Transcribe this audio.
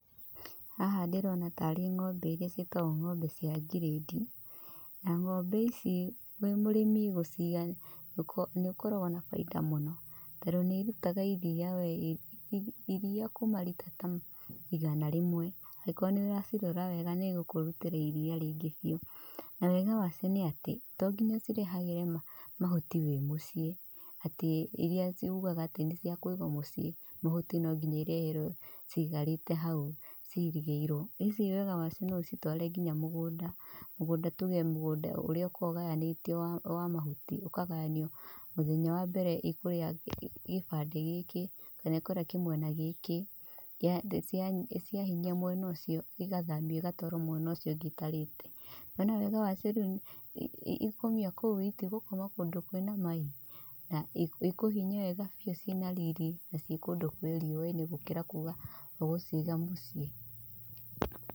Haha ndĩrona taarĩ ngombe iria cietagwo ngombe cia ngirendi. Na ngombe ici wĩ mũrĩmi gũciga nĩ ũkoragwo na baita mũno. Tondũ nĩ irutaga iria we, iria kuma rita ta igana rĩmwe. Angikorwo nĩ ũracirora wega nĩigũkũrutĩra iria rĩingĩ biu. Na wega wacio nĩ atĩ, to nginya ũcirehagĩre mahuti wi mucii, atĩ iria ugaga atĩ nĩ cia kũiga mucii, mahuti no nginya ireherwo cikarĩte hau cihingĩirwo. Ici wega wacio no ũcitware nginya mũgũnda. Mũgũnda, tuge mũgũnda ũrĩa ũkoragwo ũgayanitio wa mahuti. Ũkagayanio, muthenya wa mbere ikũrĩa gibandĩ gĩkĩ, kana ĩkurĩa kimwena gĩkĩ. Ciahinyia mwena ũcio igathamio igatwarwo mwena ũcio ũngĩ itarĩte. Na nĩ ũĩ wega wacio rĩũ ikumĩa o kũu itigũkoma kũndũ kwina mai! Na ĩkũhinyia wega biu cina riiri na ci kũndũ kwi riũwainĩ gũkira kuga ũgũciga muciĩ.